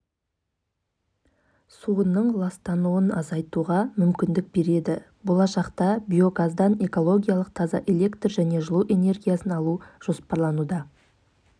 әселдің бұл жаңалығы қолданысқа ене қоймағанымен студенттерге арналған лего университет қабырғасында зор сұранысқа ие себебі қағаздан